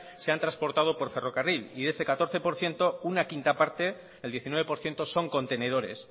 se han transportado por ferrocarril y ese catorce por ciento una quinta parte el diecinueve por ciento son contenedores